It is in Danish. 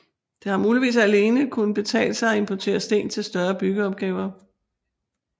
Det har muligvis alene kunnet betale sig at importere sten til større byggeopgaver